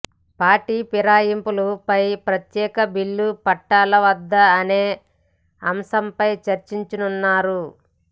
party పిరాయింపులు పై ప్రత్యేక బిల్లు పెట్టాలా వద్ద అనే అంశంపై చర్చించనున్నారు